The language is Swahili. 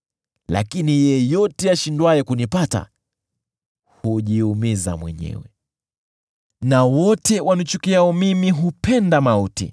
Lakini yeyote ashindwaye kunipata hujiumiza mwenyewe; na wote wanichukiao mimi hupenda mauti.”